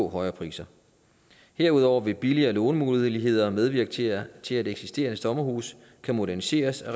højere priser herudover vil billigere lånemuligheder medvirke til at til at eksisterende sommerhuse kan moderniseres og